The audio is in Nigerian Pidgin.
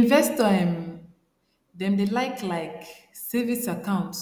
investor um dem dey like like savings account